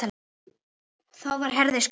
Þá var Herði skemmt.